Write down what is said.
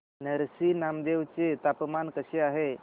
नरसी नामदेव चे तापमान कसे आहे